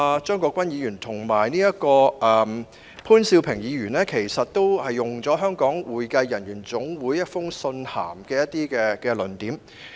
張國鈞議員和潘兆平議員剛才均引用了香港會計人員總會提交的意見書中的一些論點。